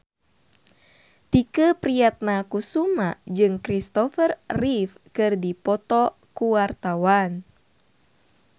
Tike Priatnakusuma jeung Kristopher Reeve keur dipoto ku wartawan